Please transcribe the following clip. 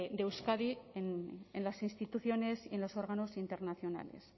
de euskadi en las instituciones en los órganos internacionales